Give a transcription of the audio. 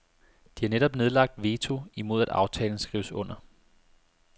De har netop nedlagt veto imod at aftalen skrives under.